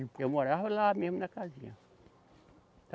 Eu morava lá mesmo na casinha.